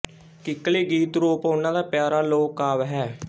ਕਿੱਕਲੀ ਗੀਤ ਰੂਪ ਉਹਨਾਂ ਦਾ ਪਿਆਰਾ ਲੋਕਕਾਵਿ ਹੈ